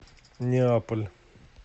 неаполь